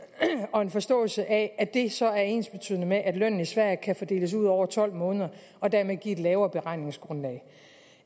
og en forståelse af at det så er ensbetydende med at lønnen i sverige kan fordeles ud over tolv måneder og dermed give et lavere beregningsgrundlag